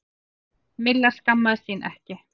Milla skammaðist sín ekki.